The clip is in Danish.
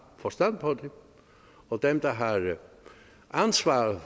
forstand på det og dem der har ansvar